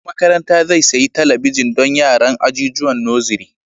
Shugaban makaranta zai sayi talabijin don yaran ajijuwan nosiri